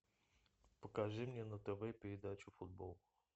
покажи мне на тв передачу футбол